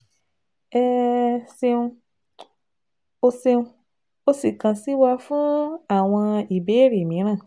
ẹ um ṣeun o ṣeun o sì kàn sí wa fún àwọn ìbéèrè mìíràn